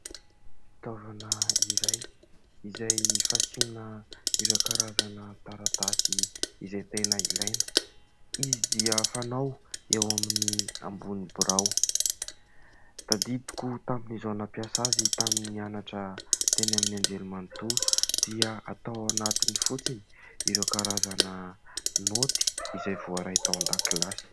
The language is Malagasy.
Fitaovana iray izay fasiana ireo karazana taratasy izay tena ilaina. Izy dia fanao eo amin'ny ambony birao. Tadidiko tamin'izaho nampiasa azy tamin'ny nianatra teny amin'ny anjerimanontolo dia atao ao anatiny fotsiny ireo karazana naoty izay voaray tao an-dakilasy.